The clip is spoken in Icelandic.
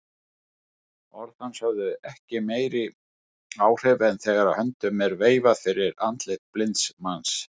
Orð hans höfðu ekki meiri áhrif en þegar höndum er veifað fyrir andliti blinds manns.